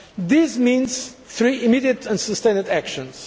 This means three immediate and sustained actions.